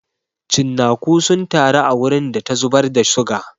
Cinnaku sun taru a wurin da ta zubar da suga.